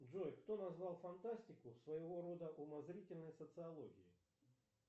джой кто назвал фантастику своего рода умозрительной социологией